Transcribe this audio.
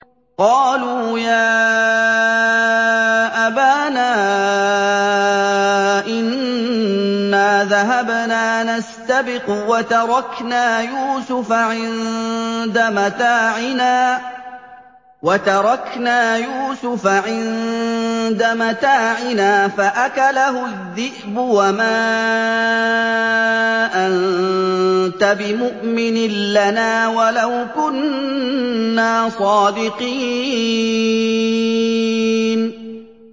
قَالُوا يَا أَبَانَا إِنَّا ذَهَبْنَا نَسْتَبِقُ وَتَرَكْنَا يُوسُفَ عِندَ مَتَاعِنَا فَأَكَلَهُ الذِّئْبُ ۖ وَمَا أَنتَ بِمُؤْمِنٍ لَّنَا وَلَوْ كُنَّا صَادِقِينَ